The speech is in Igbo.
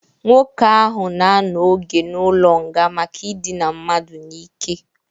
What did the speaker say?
Nwoke ahụ na-anọ oge n'ụlọ nga maka idina mmadụ n'ike